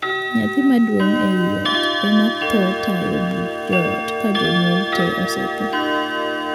Nyathi maduong' ei ot ema thoro tayo buch joot ka jonyuol tee osethoo.